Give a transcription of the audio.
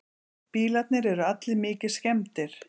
Bílarnir eru allir mikið skemmdir